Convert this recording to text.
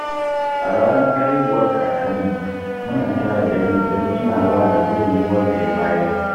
A ranar haihuwar kakanmu, muna tara dangi don tunawa da gudunmawar da ya bayar.